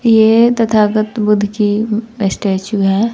ये तथागत बुद्ध की स्टैचू है।